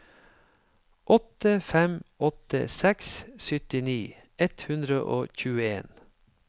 åtte fem åtte seks syttini ett hundre og tjueen